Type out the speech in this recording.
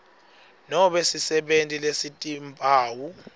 nobe sisebenti lesitimphawu